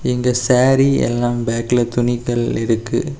இங்க சேரி எல்லாம் பேக்ல துணிகள் இருக்கு.